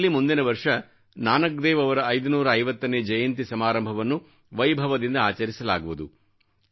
ದೇಶದಲ್ಲಿ ಮುಂದಿನ ವರ್ಷ ನಾನಕ್ ದೇವ್ ಅವರ 550ನೇ ಜಯಂತಿ ಸಮಾರಂಭವನ್ನು ವೈಭವದಿಂದ ಆಚರಿಸಲಾಗುವುದು